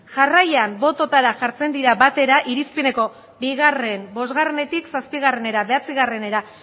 jarraian bototara jartzen dira batera irizpeneko bi bostetik zazpiera bederatzia